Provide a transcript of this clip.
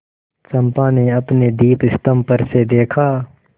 चंपा ने अपने दीपस्तंभ पर से देखा